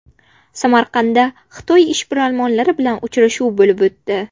Samarqandda Xitoy ishbilarmonlari bilan uchrashuv bo‘lib o‘tdi.